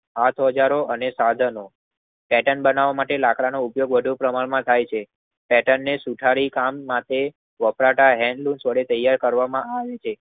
આ ઓજારો અને સાધનો પેટર્ન બનાવ માટે લાકડાનો ઉપયોગ કરવામાં થઈ છે. પેટર્નને સુધારી કામ માટે વપરાતા હેન્ડલુમ વડે તૈયાર કરવામાં આવે છે.